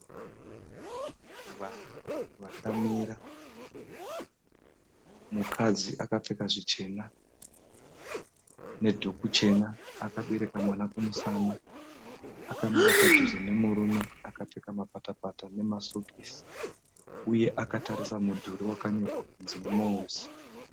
Vanhu vakamira. Mukadzi akapfeka zvichena nedhuku chena, akabereka mwana kumusana, akamira padhuze nemurume akapfeka mapatapata nemasokisi uye akatarisa mudhuri wakanyorwa kunzi "MWOS".